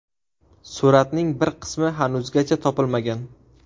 Suratning bir qismi hanuzgacha topilmagan.